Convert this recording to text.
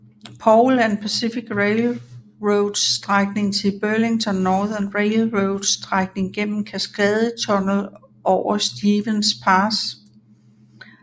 Paul and Pacific Railroads strækning til Burlington Northern Railroads strækning gennem Cascade Tunnel over Stevens Pass